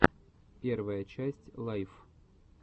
первая часть лайф